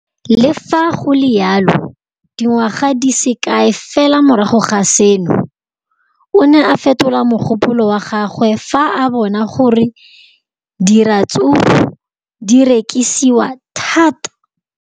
Le fa go le jalo, dingwaga di se kae fela morago ga seno, o ne a fetola mogopolo wa gagwe fa a bona gore diratsuru di rekisiwa thata.